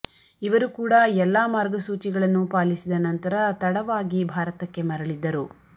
ಇವರು ಕೂಡ ಎಲ್ಲಾ ಮಾರ್ಗಸೂಚಿಗಳನ್ನು ಪಾಲಿಸಿದ ನಂತರ ತಡವಾಗಿ ಭಾರತಕ್ಕೆ ಮರಳಿದ್ದರು